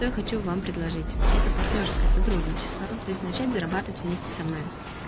я хочу вам предложить это партнёрское сотрудничество то есть начать зарабатывать вместе со мной